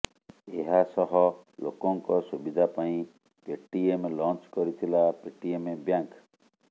ଏହାସହ ଲୋକଙ୍କ ସୁବିଧା ପାଇଁ ପେଟିଏମ୍ ଲଞ୍ଚ୍ କରିଥିଲା ପେଟିଏମ୍ ବ୍ୟାଙ୍କ୍